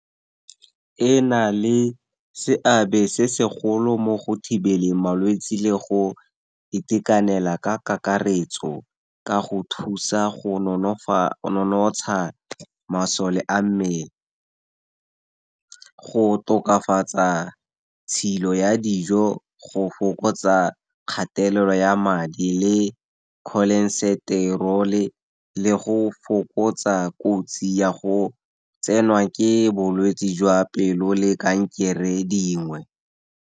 E na le seabe se segolo mo go thibeleng malwetse le go itekanela ka kakaretso, ka go thusa go nonotsha masole a mmele. Go tokafatsa tshilo ya dijo, go fokotsa kgatelelo ya madi le cholesterol-e le go fokotsa kotsi ya go tsenwa ke bolwetse jwa pelo le kankere dingwe.